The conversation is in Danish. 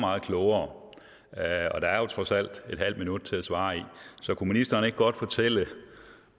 meget klogere og der er jo trods alt et halvt minut til at svare i så kunne ministeren ikke godt fortælle